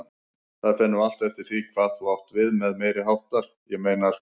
Það fer nú allt eftir því hvað þú átt við með meiriháttar, ég meina sko.